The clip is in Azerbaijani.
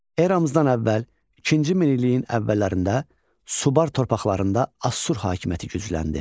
Eramızdan əvvəl ikinci minilliyin əvvəllərində Subar torpaqlarında Assur hakimiyyəti gücləndi.